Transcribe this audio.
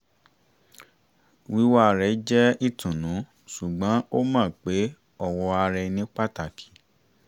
wíwà rẹ̀ jẹ́ ìtùnú ṣùgbọ́n ó mọ pé ọ̀wọ̀ ara ẹni pàtàkì